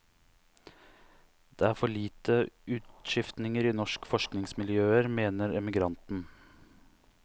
Det er for lite utskiftninger i norske forskningsmiljøer, mener emigranten.